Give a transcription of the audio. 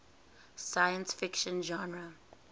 science fiction genre